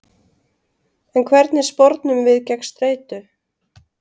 En hvernig spornum við gegn streitu?